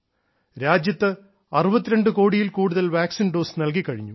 രാജ്യത്ത് 62 കോടിയിൽ കൂടുതൽ വാക്സിൻ ഡോസ് നൽകിക്കഴിഞ്ഞു